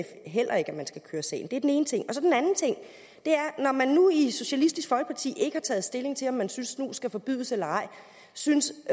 heller ikke at man skal køre sagen det er den ene ting og så den anden ting når man nu i socialistisk folkeparti ikke har taget stilling til om man synes snus skal forbydes eller ej synes